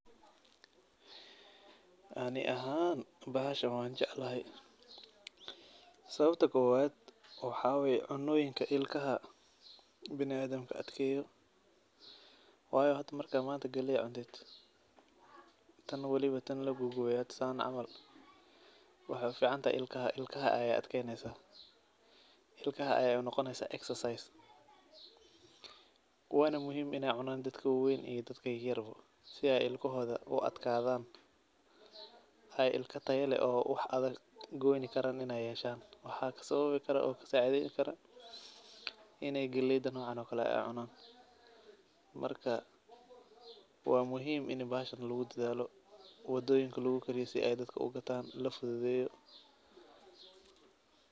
Ani axaan baxashan wan jeclaxay, sababta kowad, waxa way cunoyinka ilkaxa biniadamku adkeyoo, wayo marka manta qaley cuntidh, tan waliba tan laqaguwee san camal, waxay uficantaxay ilkaxa, ilkaxa ayay unogoneysa exercise, waana muxiim inay cunan dadka wawen iyo dadka yaryar bo, si ay ilkoxoda uadh kadhan, ay ilka tayaa lex oo wax adag goyni karan ay yeshan, waxa sababi karaa o kasacidheyni karaa, inay qaleydha nocan okale inay cunan, marka wa muxiim ini baxashan lagudadhalo, wadoyina lagukariyo si ay dadka ugataan lafudhudheyo.